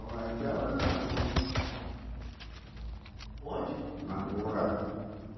Onde? Lavoura